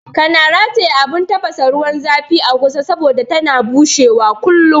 Kana rataya abun tafasa ruwan zafin a ƙusa saboda tana bushewa kullum